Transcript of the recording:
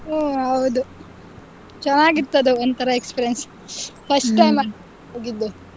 ಹ್ಮ್ ಹೌದು ಚೆನ್ನಾಗಿತ್ತು ಅದು ಒಂಥರಾ experience ಅಲ್ವಾ ಅದು ಹೋಗಿದ್ದು .